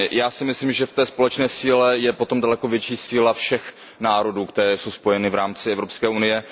Já si myslím, že v té společné síle je potom daleko větší síla všech národů, které jsou spojeny v rámci Evropské unie.